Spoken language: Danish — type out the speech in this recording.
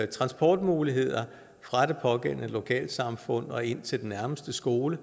transportmuligheder fra det pågældende lokalsamfund og ind til den nærmeste skole